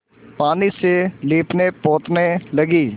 पानी से लीपनेपोतने लगी